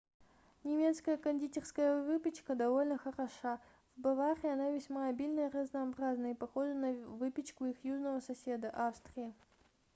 немецкая кондитерская выпечка довольно хороша в баварии она весьма обильна и разнообразна и похожа на выпечку их южного соседа австрии